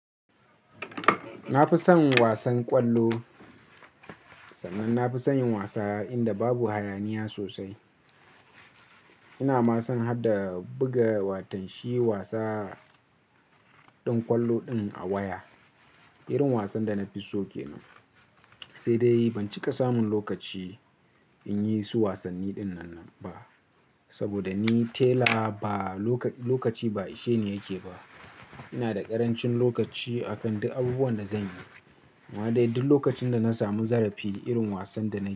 Na fi son wasan ƙwallo, sannan na fi son yin wasa inda babu hayaniya sosai. Ina ma son har da buga watanshi wasa din ƙwallo din a waya. Irin wasan da na fi so ke nan. Sai dai ban cika samun lokaci in yi su wasanni dinnan ba. Saboda ni tela ba lokaci ba ishe ni yake ba. Ina da ƙarancin lokaci akan duk abubuwan da zanyi. Amma dai duk lokacin da na samu zarafi irin wasan da nayi.